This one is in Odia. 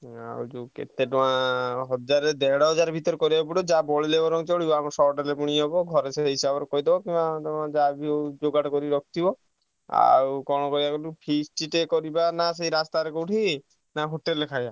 ଆଉ କେତେ ଟଙ୍କା ହଜାର ଦେଢ ହଜାର ଭିତରେ କରିବାକୁ ପଡିବ ଯାହା ବଳିଲେ ବରଂ ଚାଲିବ ଆମର short ଯଦି ହବ ଘରେ ସେ ହିସାବ ରଖିଦବ ଆଉ କଣ କରିବ କହିଲୁ feast ଟେ କରିବ ସେ ରାସ୍ତା ରେ କୋଉଠି ନା ହୋଟେଲ ରେ ଖାଇବା?